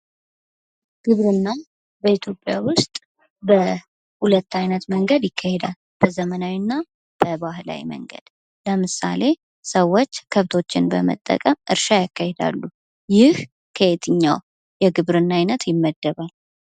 ግብርና በኢትዮጵያ ውስጥ በሁለት አይነት መንገድ ይካሄዳል። በዘመናዊ እና በባህላዊ መንገድ ለምሳሌ ሰወች ከብቶችን በመጠቀም እርሻ ያካሂዳሉ። ይህ ከየትኛው የግብርና አይነት ይመደባል?